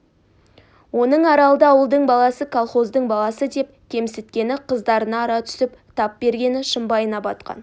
оның аралды ауылдың баласы колхоздың баласы деп кемсіткені қыздарына ара түсіп тап бергені шымбайына батқан